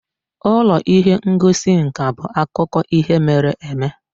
Ụlọ ihe ngosi nka bụ akụkọ ihe mere eme.